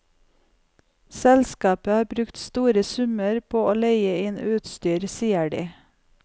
Selskapet har brukt store summer på å leie inn utstyr, sier de.